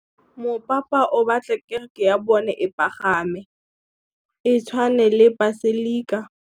Mopapa o batla kereke ya bone e pagame, e tshwane le paselika.